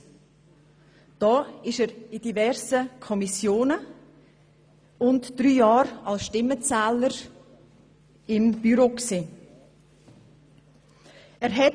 Hier war er Mitglied in diversen Kommissionen und während drei Jahren als Stimmenzähler auch des Büros des Grossen Rats.